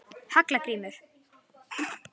Hallgrímur